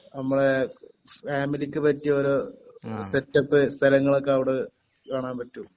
നമ്മളെ ഫാമിലിക്ക് പറ്റിയ ഓരോ സെറ്റപ്പ് സ്ഥലങ്ങളൊക്കെ അവിടെ കാണാൻ പറ്റും